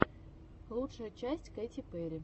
лучшая часть кэти перри